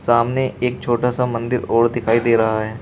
सामने एक छोटा सा मंदिर और दिखाई दे रहा है।